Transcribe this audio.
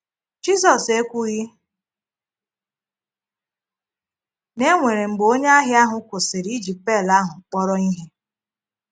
Jizọ́s ekwughị na e nwere mgbe onye ahịá ahụ́ kwụsịrị iji pel ahụ kpọrọ ihe.